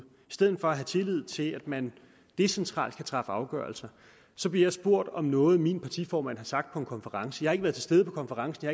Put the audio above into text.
stedet for at have tillid til at man decentralt kan træffe afgørelser så blev jeg spurgt om noget min partiformand har sagt på en konference jeg har ikke været til stede på konferencen